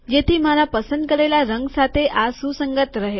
જેથી મારા પસંદ કરેલા રંગ સાથે આ સુસંગત રહે